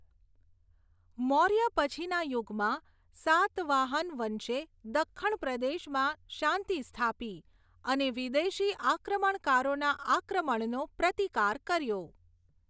મૌર્ય પછીના યુગમાં, સાતવાહન વંશે દખ્ખણ પ્રદેશમાં શાંતિ સ્થાપી અને વિદેશી આક્રમણકારોના આક્રમણનો પ્રતિકાર કર્યો.